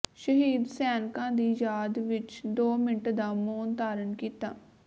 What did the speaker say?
ਸ਼ਹੀਦ ਸੈਨਕਾਂ ਦੀ ਯਾਦ ਵਿੱਚ ਦੋ ਮਿੰਟ ਦਾ ਮੋਨ ਧਾਰਨ ਕੀਤਾ